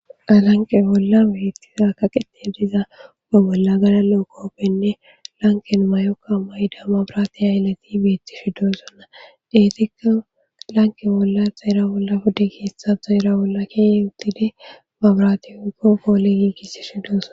alanqe bolla beettiza kaqixe diza uga bolla gala lo7o kooppenne lanken mayokka mayida mabraati ha ilati beettishi doosonna deetikka lanqe bolla zaera bolla pudde keessa zaera bolla keeye uttide babraati oykko poolegiigisi shidooson